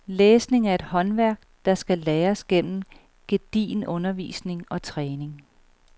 Læsning er et håndværk, der skal læres gennem gedigen undervisning og træning.